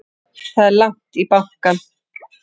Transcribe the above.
Það er langt í bankann!